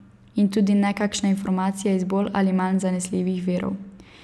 In tudi ne kakšne informacije iz bolj ali manj zanesljivih virov.